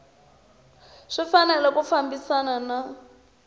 swi fanele ku fambisana na